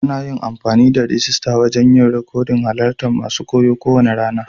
Ana amfani da rijista wajen yin rikodin halarta masun koyo ko wane rana.